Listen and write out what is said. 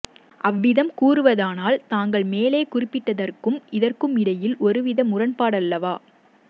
அவ்விதம் கூறுவதானால் தாங்கள் மேலே குறிப்பிட்டதற்கும் இதற்குமிடையில் ஒரு வித முரண்பாடல்லவா